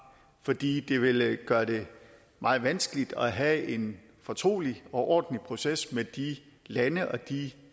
fordi det vil gøre det meget vanskeligt at have en fortrolig og ordentlig proces med de lande og de